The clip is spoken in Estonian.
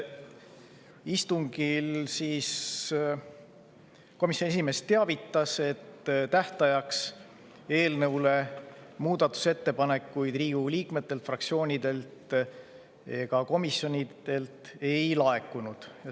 Istungil komisjoni esimees teavitas, et tähtajaks eelnõu kohta muudatusettepanekuid Riigikogu liikmetelt, fraktsioonidelt ega komisjonidelt ei laekunud.